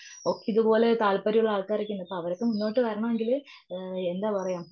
അപ്പൊ ഇതുപോലെ താൽപര്യമുള്ള ആൾക്കാരൊക്കെയുണ്ട്. അവരൊക്കെ മുന്നോട്ട് വരണമെങ്കിൽ എന്താ പറയുക?